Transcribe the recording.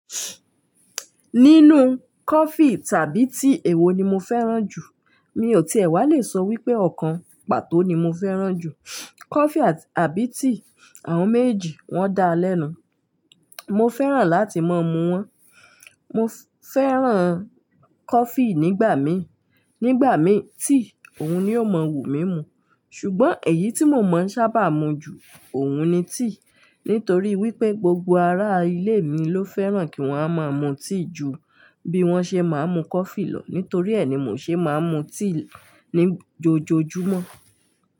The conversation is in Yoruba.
Nínú coffee tàbí tea èwo ni mo fẹ́ràn jù? Mi ò tíì ẹ wá le sọ wípé ọ̀kan pàtó ni mo fẹ́ràn jù. Coffee àbí tea, àwọn méjejì wọ́n dáa lẹ́nu. Mo fẹ́ràn láti máa mu wọ́n. Mo fẹ́ràn coffee nígbà mí, nígbà mí tea òun ni ó máa ń wù mí mu. Ṣùgbọ́n èyí tí mo máa ń sábà mu ju òun ni tea. Nítorí wípé gbogbo ará ilé mi ló fẹ́ràn kí wọ́n a máa mu tea ju bí wọ́n ṣe máa ń mu coffee lọ. Nítorí ẹ ni mò ṣe máa ń mu tea ní jojọ́mọ́.